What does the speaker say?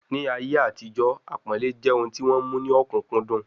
Ni ayé àtijó, àpọ́nlẹ́ jẹ́ ohun tí wọ́n mú ní ọ̀kúnkúndùn